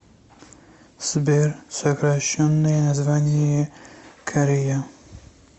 сбер сокращенное название корея